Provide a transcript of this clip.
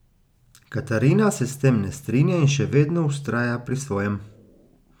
Katarina se s tem ne strinja in še vedno vztraja pri svojem.